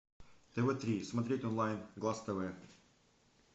тв три смотреть онлайн глаз тв